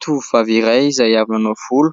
Tovovavy iray izay avy nanao volo